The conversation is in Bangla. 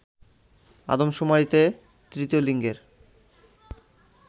আদমশুমারিতে তৃতীয় লিঙ্গের